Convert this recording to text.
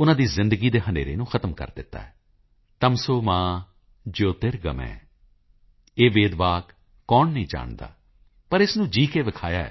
ਉਨ੍ਹਾਂ ਦੀ ਜ਼ਿੰਦਗੀ ਦੇ ਹਨੇਰੇ ਨੂੰ ਖ਼ਤਮ ਕਰ ਦਿੱਤਾ ਹੈ ਤਮਸੋ ਮਾ ਜਯੋਤੀ ਗਰਮਯ ਇਹ ਵੇਦ ਵਾਕ ਕੌਣ ਨਹੀਂ ਜਾਣਦਾ ਪਰ ਇਸ ਨੂੰ ਜੀਅ ਕੇ ਵਿਖਾਇਆ ਹੈ ਡੀ